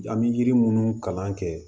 An bɛ yiri munnu kalan kɛ